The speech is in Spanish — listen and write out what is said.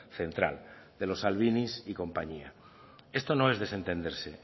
central de los salvinis y compañía esto no es desentenderse